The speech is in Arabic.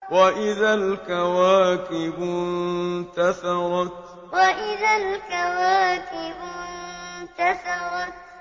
وَإِذَا الْكَوَاكِبُ انتَثَرَتْ وَإِذَا الْكَوَاكِبُ انتَثَرَتْ